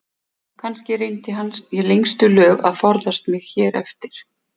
Kannski reyndi hann í lengstu lög að forðast mig hér eftir.